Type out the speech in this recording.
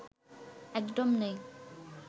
একদম নেই